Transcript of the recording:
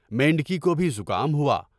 میںڈ کی کو بھی زکام ہوا؟